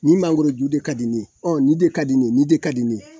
Nin mangoroju de ka di n ye ɔ nin de ka di n ye nin de ka di n ye